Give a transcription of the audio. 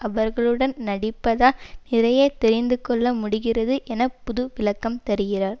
அவர்களுடன் நடிப்பதால் நிறைய தெரிந்து கொள்ள முடிகிறது என புது விளக்கம் தருகிறார்